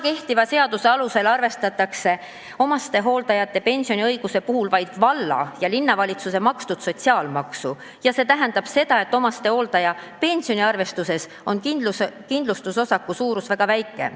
Kehtiva seaduse alusel arvestatakse omastehooldaja pensioniõiguse puhul vaid valla- ja linnavalitsuse makstud sotsiaalmaksu ja see tähendab seda, et omastehooldaja pensioniarvestuses on kindlustusosaku suurus väga väike.